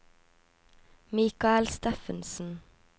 Mikael Steffensen